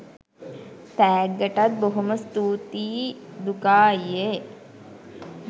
තෑග්ගටත් බොහොම ස්තූතියි දුකා අයියේ